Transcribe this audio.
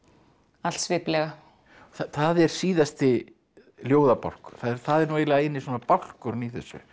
all sviplega það er síðasti ljóðabálkurinn það er nú eiginlega eini svona bálkurinn í þessu